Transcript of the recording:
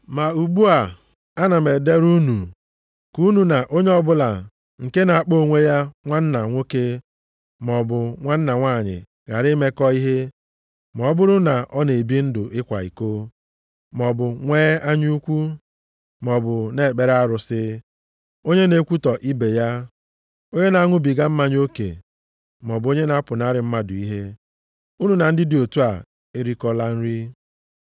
Ma ugbu a, a na m edere unu ka unu na onye ọbụla nke na-akpọ onwe ya nwanna nwoke maọbụ nwanna nwanyị ghara imekọ ihe, ma ọ bụrụ na ọ na-ebi ndụ ịkwa iko, maọbụ nwee anya ukwu, maọbụ na-ekpere arụsị, onye na-ekwutọ ibe ya, onye na-aṅụbiga mmanya oke, maọbụ onye na-apụnara mmadụ ihe. Unu na ndị dị otu a erikọla nri.